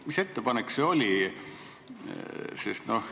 Mis ettepanek see oli?